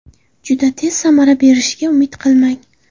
Juda tez samara berishiga umid qilmang.